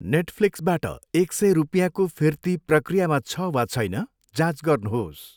नेटफ्लिक्सबाट एक सय रुपियाँको फिर्ती प्रक्रियामा छ वा छैन, जाँच गर्नुहोस् !